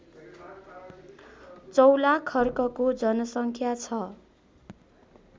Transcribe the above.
चौलाखर्कको जनसङ्ख्या छ